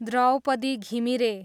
Draupadi Ghimire